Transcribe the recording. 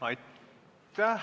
Aitäh!